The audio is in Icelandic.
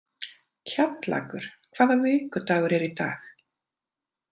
Kjallakur, hvaða vikudagur er í dag?